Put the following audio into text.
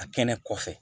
A kɛnɛ kɔfɛ